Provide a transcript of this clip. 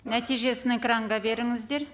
нәтижесін экранға беріңіздер